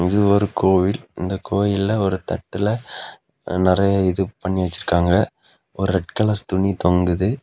இது ஒரு கோயில் இந்தக் கோயில்ல ஒரு தட்டுல நிறைய இது பண்ணி வச்சிருக்காங்க ஒரு ரெட் கலர் துணி தொங்குது.